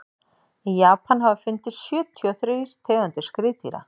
í japan hafa fundist sjötíu og þrír tegundir skriðdýra